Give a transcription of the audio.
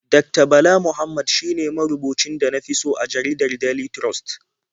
Dakta Bala Muhammad shine marubucin da na fi so a jaridar Daily Trust.